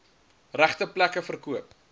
regte plekke verkoop